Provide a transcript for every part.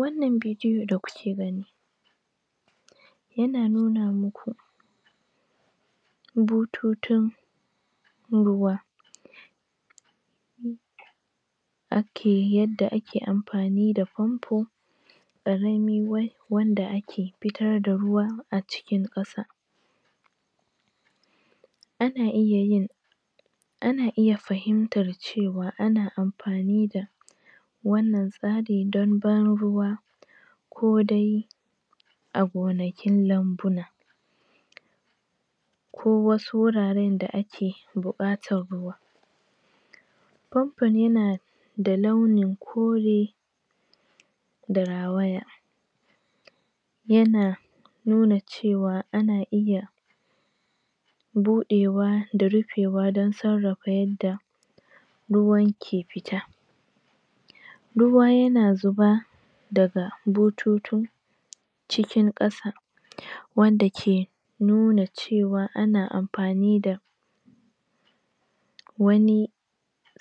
wannan bidiyo da kuke gani yana nuna muku bututun ruwa ake yanda ake amfani da famfo karami wanda ake fitar da ruwa acikin ƙasa ana iya yin ana iya fahimtar cewa ana amfani da wannnan tsari don banruwa ko dai a gonakin lambuna ko wasu wurare da ake bukatar ruwa famfon yana launin kore da rawaya yana nuna cewa ana iya budewa da rufewa don sarrafa ruwan ke fita ruwa yana fita daga butun cikin ƙasa wanda ke nuna cewa ana amfani da wani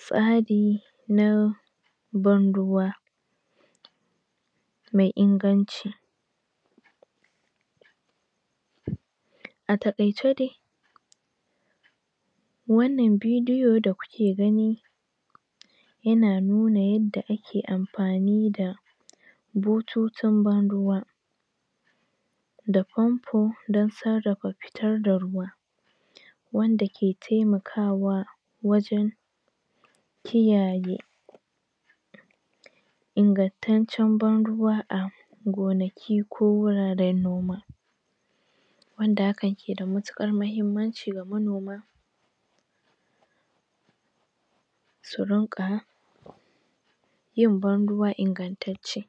tsari na banruwa mai inganci a takaice dai wannan bidiyo da kuke gani yana nuna yadda ake amfani da bututun ban ruwa da famfo don sarrafa fitar da ruwa wanda ke temaka wajen kiyaye ingantaccen banruwa a gonaki ko wuraren noma wanda hakan keda matukar muhimmanci ga manoma su rinƙa yin ban ruwa ingantacce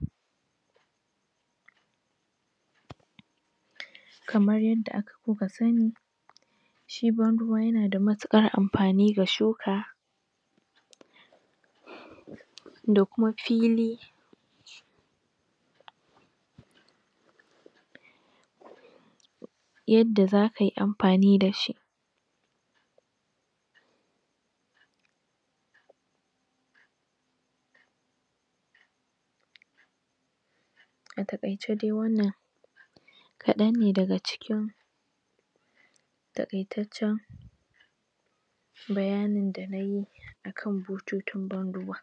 kamar yadda kuka sani shi banruwa yana da matukar amfani ga shuka da kuma fili yadda zaka yi amfani da shi a takaice dai wannan kadan ne daga cikin takaitaccen bayanin da nayi akan bututun ban ruwa